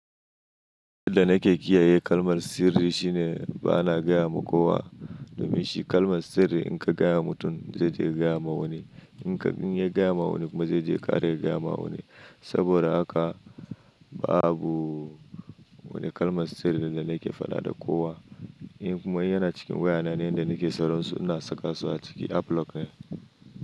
Da abin da nake kiyaye kalmar sirri shine ba na gayama kowa. Domin shi kalmar sirri in ka gaya wa mutum zai je ya gaya ma wani ne. In ya gaya ma wani kuma zai je ya kara gaya ma wani saboda haka babu wani kalmar sirrin da nake faɗa da kowa. In kuma yana cikin wayana, inda nake sauransu ina saka su a ciki App lock ne.